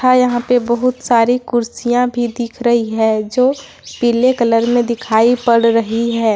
और यहां पे बहुत सारी कुर्सियां भी दिख रही है जो पीले कलर में दिखाई पड़ रही ।